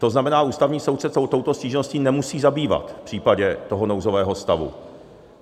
To znamená, Ústavní soud se touto stížností nemusí zabývat v případě toho nouzového stavu.